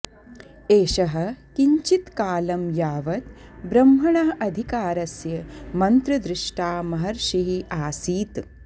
एषः किञ्चित्कालं यावत् ब्रह्मणः अधिकारस्य मन्त्रदृष्टा महर्षिः आसीत्